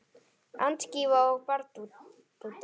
Antígva og Barbúda